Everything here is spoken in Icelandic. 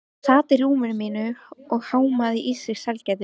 Hún sat á rúminu mínu og hámaði í sig sælgætið.